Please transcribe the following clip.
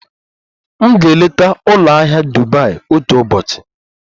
M ga-eleta ụlọ ahịa Dubai otu ụbọchị.